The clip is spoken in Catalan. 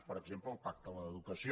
per exemple el pacte de l’educació